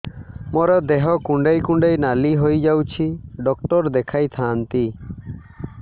ମୋର ଦେହ କୁଣ୍ଡେଇ କୁଣ୍ଡେଇ ନାଲି ହୋଇଯାଉଛି ଡକ୍ଟର ଦେଖାଇ ଥାଆନ୍ତି